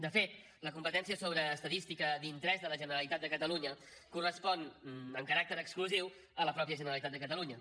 de fet la competència sobre estadística d’interès de la generalitat de catalunya correspon amb caràcter exclusiu a la mateixa generalitat de catalunya